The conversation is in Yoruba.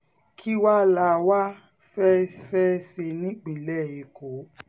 kí wáá la wáá fẹ́ẹ́ fẹ́ẹ́ ṣe nípínlẹ̀ èkó